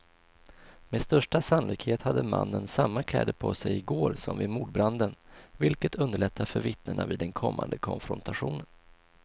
Med största sannolikhet hade mannen samma kläder på sig i går som vid mordbranden, vilket underlättar för vittnena vid den kommande konfrontationen.